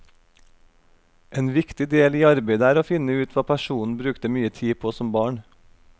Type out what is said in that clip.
En viktig del i arbeidet er å finne ut hva personen brukte mye tid på som barn.